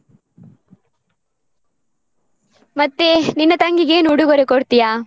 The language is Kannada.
ಮತ್ತೇ ನಿನ್ನ ತಂಗಿಗೆ ಏನು ಉಡುಗೊರೆ ಕೊಡ್ತಿಯಾ?